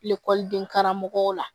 Ekɔliden karamɔgɔw la